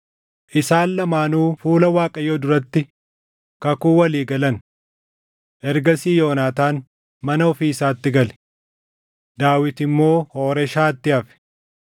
Isaan lamaanuu fuula Waaqayyoo duratti kakuu walii galan. Ergasii Yoonaataan mana ofii isaatti gale; Daawit immoo Hooreshaatti hafe.